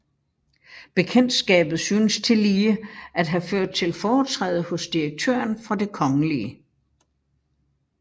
Bekendtskabet synes tillige at have ført til foretræde hos direktøren for Det kgl